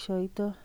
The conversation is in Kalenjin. kiy.